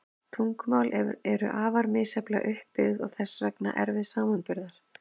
Tungumál eru afar misjafnlega upp byggð og þess vegna erfið samanburðar.